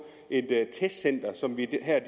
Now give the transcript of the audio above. et testcenter som vi her